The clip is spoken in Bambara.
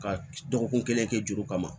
Ka dɔgɔkun kelen kɛ juru kama